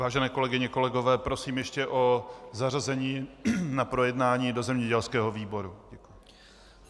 Vážené kolegyně, kolegové, prosím ještě o zařazení na projednání do zemědělského výboru.